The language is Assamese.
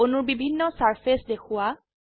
অনূৰ বিভিন্ন সাৰফেস দেখোৱা